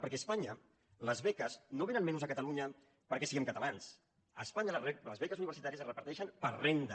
perquè a es·panya les beques no vénen menys a catalunya perquè siguem catalans a espanya les beques universitàries es reparteixen per renda